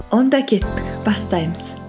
онда кеттік бастаймыз